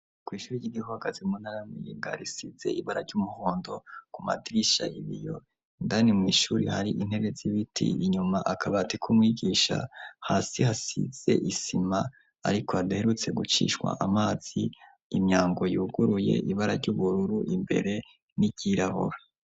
Kw'ishuri ry'igihagazi mu ntara ya Muyinga risize ibara ry'umuhondo ku madirisha, ibiyo indani mw'ishuri hari intebe z'ibiti, inyuma akabati k'umwigisha hasi hasize isima ariko hadaherutse gucishwa amazi imyango yuguruye ibara ry'ubururu imbere n'iryirabura.